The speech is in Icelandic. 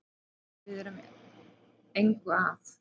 Við erum engu að